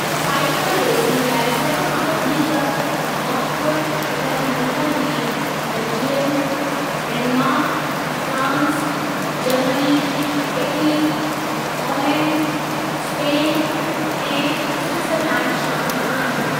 Cycle racing लाइ सभु खां वधीक वक़्फ़ थियल मुल्कनि में Belgium, Denmark, France, Germany, Italy, Holland,, Spain ऐं स्विटॼरलैंड शामिलु आहिनि।